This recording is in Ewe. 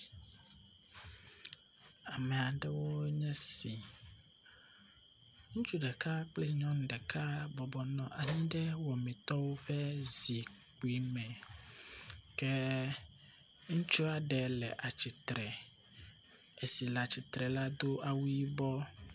Ame aɖewo nye sia. Ŋutsu ɖeka kple nyɔnu ɖeka bɔbɔnɔ anyi ɖe wɔmitɔwo ƒe zikpui me ke ŋutsua ɖe le atsitre. Esi le atsitre la do awu yibɔ.